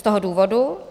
Z toho důvodu